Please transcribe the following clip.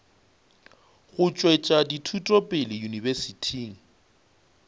go tšwetša dithuto pele yunibesithing